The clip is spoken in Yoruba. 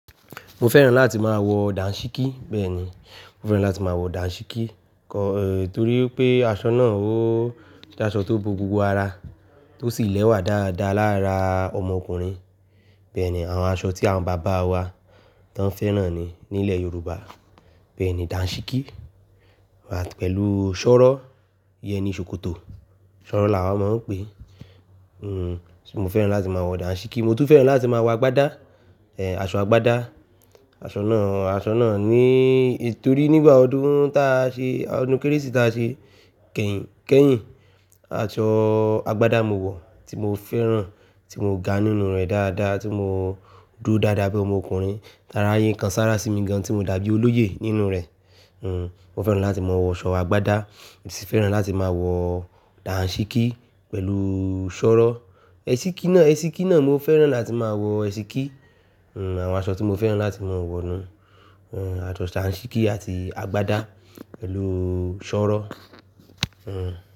Mo fẹ́ràn láti máa wọ dànṣíkí. Bẹ́ẹ̀ni, mo fẹ́ràn láti máa wọ dànṣíkí. Kọ, eh, torí pé aṣọ náà ó jẹ́ aṣọ tó bo gbogbo ara, tó sì lẹ́wà dáadáa lára ọmọkùnrin. Bẹ́ẹ̀ni, àwọn aṣọ tí àwọn bàbá wa tán fẹ́ràn ni nílẹ̀ Yorùbá. Bẹ́ẹ̀ni, dànṣíkí, pẹ̀lú ṣọ́rọ̀, ìyẹn ni ṣòkòtò. Ṣọ́rọ̀ là wa máa ń pè é. Hmm, mo fẹ́ràn láti máa wọ dànṣíkí, mo tún fẹ́ràn láti máa wọ agbádá, eh, aṣọ agbádá. Aṣọ náà, aṣọ náà ní, torí nígbà ọdún táa ṣe, ọdún Kérésì táa ṣe, kẹyìn, kẹyìn aṣọ agbádá mo wọ̀ tí mo fẹ́ràn, tí mo ga nínú rẹ̀ dáadáa, tí mo dúró dáadáa bí ọmọkùnrin. Ti araye kan sára sí mi gan tí mo dàbí olóyè nínú rẹ̀. Hmm, mo fẹ́ràn láti máa wọ aṣọ agbádá, mo sì fẹ́ràn láti máa wọ dànṣíkí pẹ̀lú ṣọ́rọ̀. Ẹ̀síkí náà, ẹ̀síkí náà mo fẹ́ràn láti máa wọ ẹ̀síkí. Hmm, àwọn aṣọ tí mo fẹ́ràn láti máa wọ̀ ni, hmm, aṣọ dànṣíkí àti agbádá pẹ̀lú ṣọ́rọ̀. Hmm.